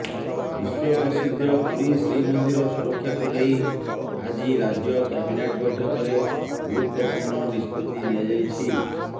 ବିଶ୍ୱ ପ୍ରସିଦ୍ଧ ପୁରୀ ଶ୍ରୀମନ୍ଦିର ସୁରକ୍ଷାକୁ ନେଇ ଆଜି ରାଜ୍ୟ କ୍ୟାବିନେଟ୍ ବୈଠକରେ ଗୁରୁତ୍ୱପୂର୍ଣ୍ଣ ନିଷ୍ପତ୍ତି ନିଆଯାଇଛି